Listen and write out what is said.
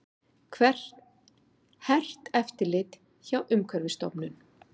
Hert eftirlit hjá Umhverfisstofnun